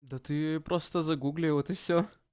да ты просто загугли вот и всё